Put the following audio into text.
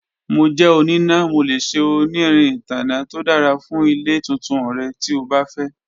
Mo jẹ onina, Mo le ṣe onirin itanna to dara fun ile tuntun rẹ ti o ba fẹ.